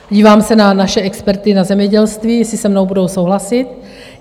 Dívám se na naše experty na zemědělství, jestli se mnou budou souhlasit.